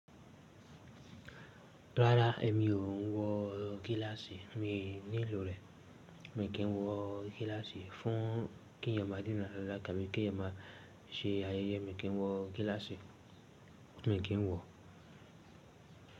Rárá, èmi ò ń wọ gíláàsì. Mi nílò rẹ̀. Èmi kì í wọ gíláàsì. Fún kí eyan má a dínran lára, tàbí kí eyaaln má a ṣe ayẹyẹ, mi kì í n wọ gíláàsì. Èmi kì í wọ.